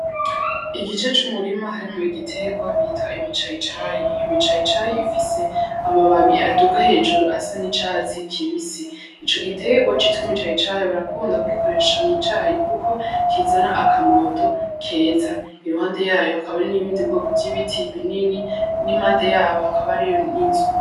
Igice c'umurima harimwo igiterwa bita ibicayicayi. Ibicayicayi bifise amababi baduga hejuru asa n'icatsi kibisi. Ico giterwa citwa ibicayicayi barakunda kugikoresha mu cayi kuko kizana akamoto keza. Iruhande yaco hakaba hari n'ubundi bwoko bw'ibiti binini n'impande yaco hakaba hariyo n'inzu.